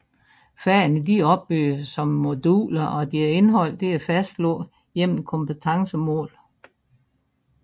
Fagene er opbygget som moduler og deres indhold er fastlagt gennem kompetencemål